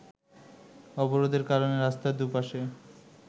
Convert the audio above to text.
অবরোধের কারণে রাস্তার দু’পাশে